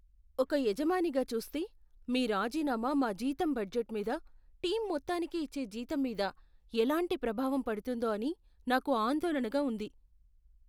ఒక యజమానిగా చూస్తే, మీ రాజీనామా మా జీతం బడ్జెట్ మీద, టీమ్ మొత్తానికి ఇచ్చే జీతం మీద ఎలాంటి ప్రభావం పడుతుందో అని నాకు ఆందోళనగా ఉంది.